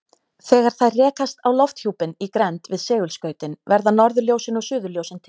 Þegar þær rekast á lofthjúpinn í grennd við segulskautin verða norðurljósin og suðurljósin til.